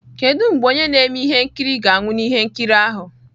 Kedu mgbe onye na-eme ihe nkiri ga-anwụ na ihe nkiri ahụ?